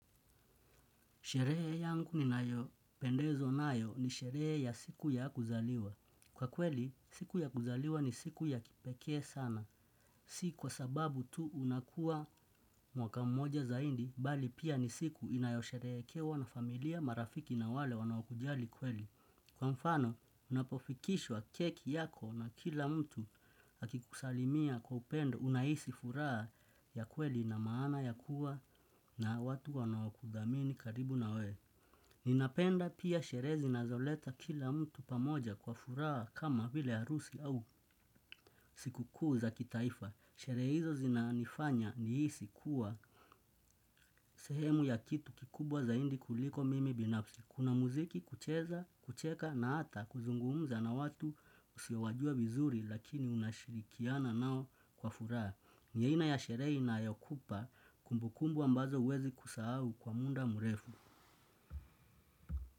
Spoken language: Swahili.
Sherehe yangu ninayopendezwa nayo ni sherehe ya siku ya kuzaliwa. Kwa kweli, siku ya kuzaliwa ni siku ya kipekee sana. Si kwa sababu tu unakua mwaka mmoja zaidi, bali pia ni siku inayosherehekewa na familia marafiki na wale wanaokujali kweli. Kwa mfano, unapofikishwa keki yako na kila mtu akikusalimia kwa upendo unahisi furaha ya kweli na maana ya kuwa na watu wanaokuthamini karibu na wewe. Ninapenda pia sherehe zinazoleta kila mtu pamoja kwa furaha kama vile harusi au sikukuu za kitaifa. Sherehe hizo zinanifanya nihisi kuwa. Sehemu ya kitu kikubwa zaidi kuliko mimi binafsi. Kuna muziki kucheza, kucheka na hata kuzungumza na watu usiowajua vizuri lakini unashirikiana nao kwa furaha. Ni aina ya shere inayokupa kumbukumbu ambazo huwezi kusahau kwa muda mrefu.